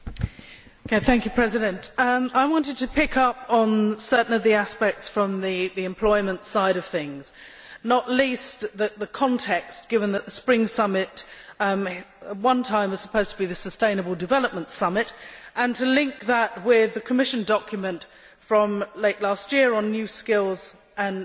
Mr President, I want to pick up on certain of the aspects from the employment side of things and not least the context, given that the Spring Summit was at one time supposed to be the sustainable development summit' and to link that with the Commission document from late last year on new skills and new jobs.